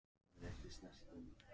Nánast alla þeirra hjúskapartíð.